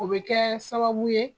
O bɛ kɛ sababu ye